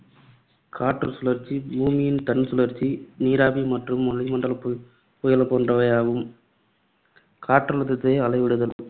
காற்று சுழற்சி, பூமியின் தன்சுழற்சி, நீராவி மற்றும் வளிமண்டலப் பு~ புயல்கள் போன்றவையாகும். காற்றழுத்தத்தை அளவிடுதல்